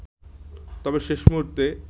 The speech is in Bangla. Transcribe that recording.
তবে শেষ মুহুর্তে